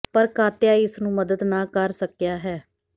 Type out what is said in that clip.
ਪਰ ਕਾਤਿਆ ਇਸ ਨੂੰ ਮਦਦ ਨਾ ਕਰ ਸਕਿਆ ਹੈ